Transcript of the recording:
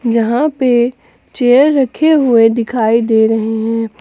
यहां पे चेयर रखे हुए दिखाई दे रहे हैं।